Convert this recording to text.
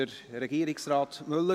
Wünscht Regierungsrat Müller